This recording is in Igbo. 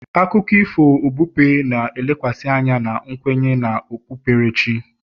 akụkọ ifo okpukpe na-elekwasị anya na nkwenye na okpukperechi